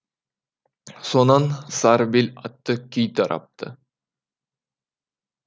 сонан сары бел атты күй тарапты